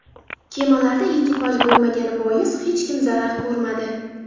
Kemalarda ekipaj bo‘lmagani bois hech kim zarar ko‘rmadi.